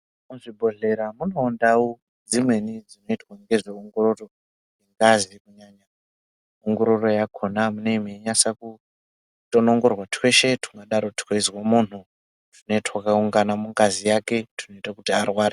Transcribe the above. Muzvibhohlora munewo ndau dzimweni dzinoitwa ngezveongororo yengazi kunyanya ongororo yakona munemweinaswa kutonongorwa twese tweizwa muntu twene twakaungana mugazi mwake twinoita kuti arware.